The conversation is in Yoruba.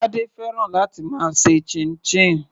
Tade fẹ́ràn láti máa ṣe chinchin.